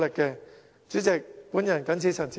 代理主席，本人謹此陳辭。